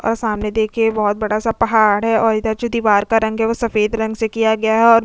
और सामने देखिए बहुत बड़ा सा पहाड़ है और इधर जो दीवार का रंग है वो सफेद रंग से किया गया है और --